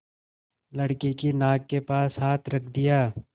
लड़के की नाक के पास हाथ रख दिया